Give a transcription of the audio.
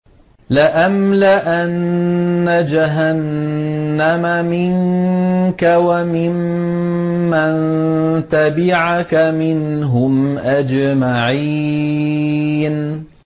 لَأَمْلَأَنَّ جَهَنَّمَ مِنكَ وَمِمَّن تَبِعَكَ مِنْهُمْ أَجْمَعِينَ